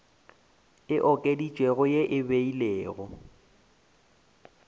e okeditšwego ye e beilwego